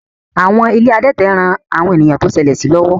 Àwọn ilé adẹ́tẹ̀ ń ran àwọn ènìyàn tó ṣẹlẹ̀ sí lọ́wọ́